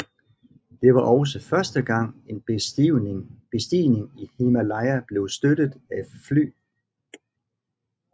Det var også første gang en bestigning i Himalaya blev støttet af fly